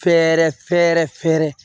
Fɛɛrɛ fɛɛrɛ fɛɛrɛ